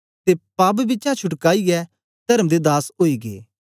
ते पाप बिचा छुटकाईयै तर्म दे दास ओई गै